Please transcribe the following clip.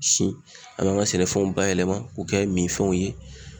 Siw an b'an ga sɛnɛfɛnw bayɛlɛma k'o kɛ minfɛnw ye